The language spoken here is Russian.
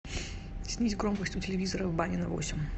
снизь громкость у телевизора в бане на восемь